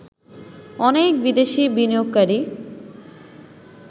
অনেক বিদেশি বিনিয়োগকারী